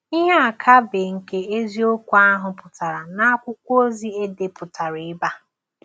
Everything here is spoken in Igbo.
Ihe akaebe nke eziokwu ahụ pụtara na akwụkwọ ozi e depụtara ebe a.